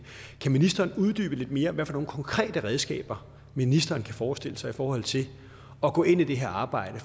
kan ministeren uddybe lidt mere hvilke konkrete redskaber ministeren kan forestille sig i forhold til at gå ind i det her arbejde